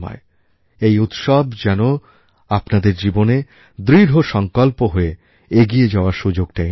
এই উৎসব যেন আপনার জীবনে দৃঢ়সংকল্প হয়ে এগিয়ে যাওয়ার সুযোগটা এনে দেয়